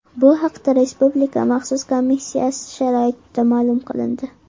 Bu haqda Respublika maxsus komissiyasi axborotida ma’lum qilindi.